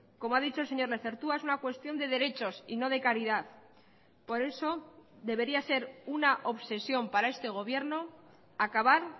como ha dicho el señor lezertua es una cuestión de derechos y no de caridad por eso debería ser una obsesión para este gobierno acabar